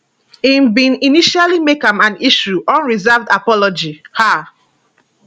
im bin initially make am and issue unreserved apology um